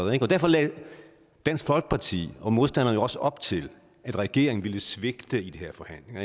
derfor lagde dansk folkeparti og modstanderne jo også op til at regeringen ville svigte i de her forhandlinger